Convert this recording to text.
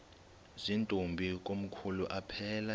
zirntombi komkhulu aphelela